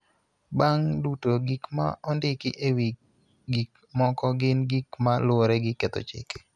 Bang� duto, gik ma ondiki e wi gik moko gin gik ma luwore gi ketho chike.